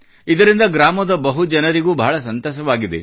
ಇದರಿಂದ ಗ್ರಾಮದ ಬಹುಜನರಿಗೂ ಬಹಳ ಸಂತಸವಾಗಿದೆ